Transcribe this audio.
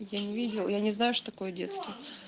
я не видел я не знаю что такое детство